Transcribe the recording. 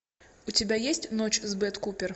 у тебя есть ночь с бет купер